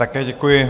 Také děkuji.